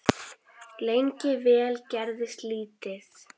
Lengi vel gerðist lítið.